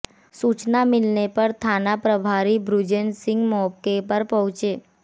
सूचना मिलने पर थाना प्रभारी बृजेश सिंह मौके पर पहुंचे